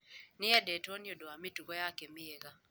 Nĩ eendetwo nĩ ũndũ wa mĩtugo yake mĩega